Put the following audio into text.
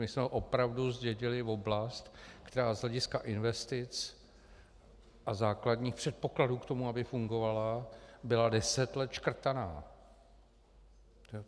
My jsme opravdu zdědili oblast, která z hlediska investic a základních předpokladů k tomu, aby fungovala, byla deset let škrtaná.